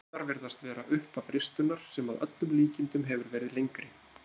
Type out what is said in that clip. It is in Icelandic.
Rúnirnar virðast vera upphaf ristunnar sem að öllum líkindum hefur verið lengri.